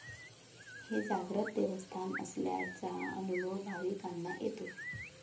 हे जागृत देवस्थान असल्याचा अनुभव भाविकांना येतो.